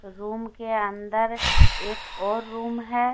Room के अंदर एक और रूम है।